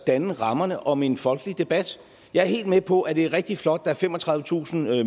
danne rammerne om en folkelig debat jeg er helt med på at det er rigtig flot at der er femogtredivetusind